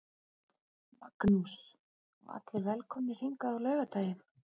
Magnús: Og allir velkomnir hingað á laugardaginn?